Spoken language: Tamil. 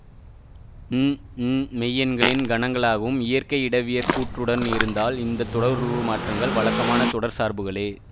ம் ம் மெய்யெண்களின் கணங்களாகவும் இயற்கை இடவியற் கூற்றுடனும் இருந்தால் இந்த தொடருருமாற்றங்கள் வழக்கமான தொடர் சார்புகளே